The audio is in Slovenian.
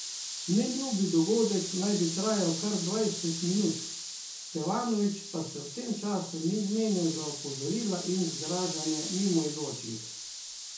Neljubi dogodek naj bi trajal kar dvajset minut, Stevanović pa se v tem času ni zmenil za opozorila in zgražanje mimoidočih.